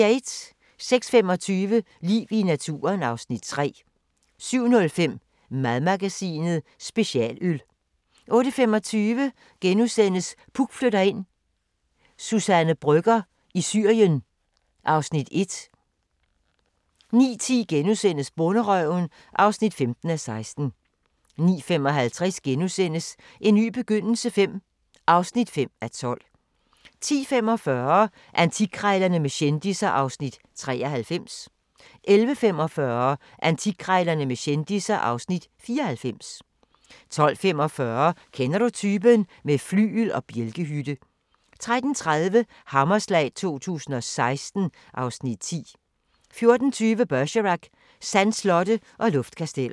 06:25: Liv i naturen (Afs. 3) 07:05: Madmagasinet: Specialøl 08:25: Puk flytter ind: Suzanne Brøgger i Syrien (Afs. 1)* 09:10: Bonderøven (15:16)* 09:55: En ny begyndelse V (5:12)* 10:45: Antikkrejlerne med kendisser (Afs. 93) 11:45: Antikkrejlerne med kendisser (Afs. 94) 12:45: Kender du typen? - med flygel og bjælkehytte 13:30: Hammerslag 2016 (Afs. 10) 14:20: Bergerac: Sandslotte og luftkasteller